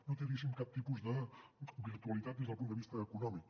no té cap tipus de virtualitat des del punt de vista econòmic